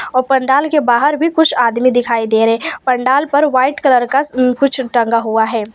और पंडाल के बाहर भी कुछ आदमी दिखाई दे रहे पंडाल पर वाइट कलर का कुछ टंगा हुआ है।